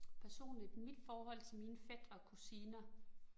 Personligt, mit forhold til mine fætre og kusiner